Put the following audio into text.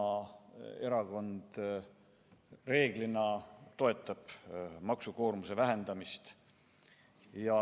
Isamaa Erakond reeglina toetab maksukoormuse vähendamist.